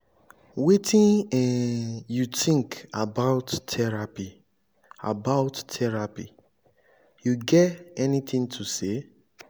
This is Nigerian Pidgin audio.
wetin um you think about therapy about therapy you get anything to say?